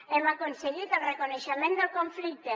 hem aconseguit el reconeixement del conflicte